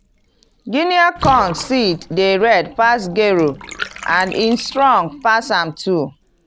guniea corn seed dey red pass gero and e strong pass am too.